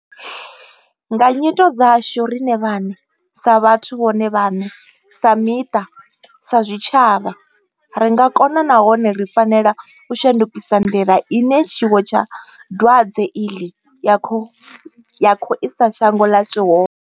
Nga nyito dzashu riṋe vhaṋe sa vhathu vhone vhaṋe, sa miṱa, sa zwitshavha ri nga kona nahone ri fanela u shandukisa nḓila ine tshiwo tsha dwadze iḽi ya khou isa shango ḽashu hone.